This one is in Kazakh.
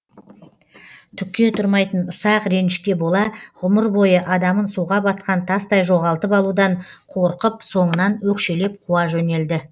түкке тұрмайтын ұсақ ренішке бола ғұмыр бойы адамын суға батқан тастай жоғалтып алудан қорқып соңынан өкшелеп қуа жөнелді